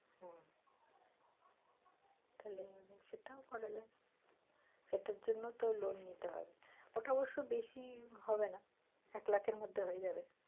হম তাহলে সেটাও করা যায় সেটার জন্য তো loan নিতে হবে, ওটা অবশ্য বেশি হবে না এক লাখ আর মধ্যে হয়ে যাবে।